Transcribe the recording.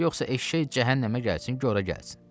Yoxsa eşşək cəhənnəmə gəlsin, qora gəlsin.